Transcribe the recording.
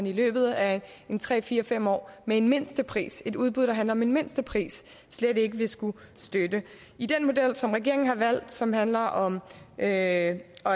i løbet af en tre fire fem år med en mindstepris et udbud der handler om en mindstepris slet ikke vil skulle støttes i den model som regeringen har valgt som handler om at